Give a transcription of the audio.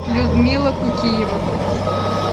людмила кукиева